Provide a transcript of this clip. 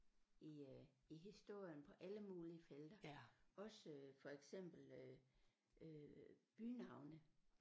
I øh i historien på alle mulige felter også for eksempel øh øh bynavne